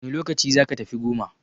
Wane lokaci zaka tafi goma?